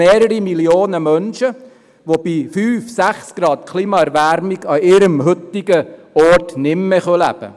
Mehrere Millionen Menschen können bei einer Klimaerwärmung um fünf oder sechs Grad nicht mehr an ihrem heutigen Ort leben.